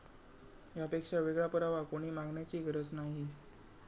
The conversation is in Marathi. यापेक्षा वेगळा पुरावा कोणी मागण्याची गरज नाही.